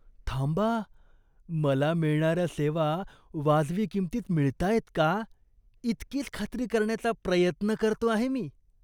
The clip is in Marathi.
थांबा, मला मिळणाऱ्या सेवा वाजवी किंमतीत मिळतायत का, इतकीच खात्री करण्याचा प्रयत्न करतो आहे मी.